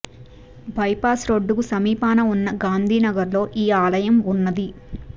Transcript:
bypass road కి సమీపాన ఉన్న గాంధీనగర్ లో ఈ ఆలయం ఉన్నది